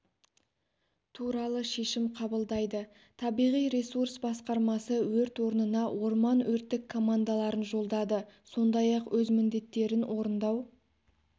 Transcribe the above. туралы шешім қабылдайды табиғи ресурс басқармасы өрт орнына орман өрттік командаларын жолдады сондай-ақ өз міндеттерін орындау